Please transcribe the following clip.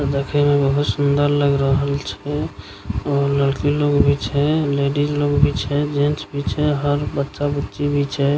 देखे में बहुत सुन्दर लग रहल छे और लड़की लोग भी छे लेडीज लोग भी छे जेंट्स भी छे हर बच्चा बुच्ची भी छे।